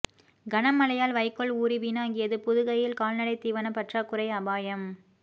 கனமழையால் வைக்கோல் ஊறி வீணாகியது புதுகையில் கால்நடை தீவன பற்றாக்குறை அபாயம்